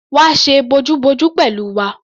Wá ṣe bojúbojú pẹ̀lú wa!